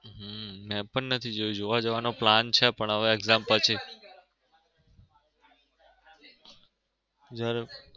હમ મેં પણ નથી જોયું જોવા જવાનો plan છે પણ exam પછી.